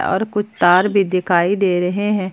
और कुछ तार भी दिखाई दे रहे हैं।